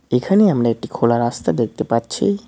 এখানে আমরা একটি খোলা রাস্তা দেখতে পাচ্ছি।